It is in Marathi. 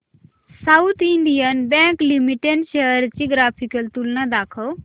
south Indian Bank Limited shares ची ग्राफिकल तुलना दाखव